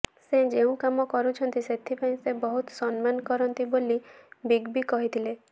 ସେ ଯେଉଁ କାମ କରୁଛନ୍ତି ସେଥିପାଇଁ ସେ ବହୁତ ସମ୍ମାନ କରନ୍ତି ବୋଲି ବିଗ ବି କହିଥିଲେ